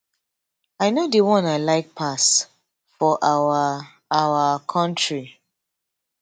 i know di one i like pass for our our kontri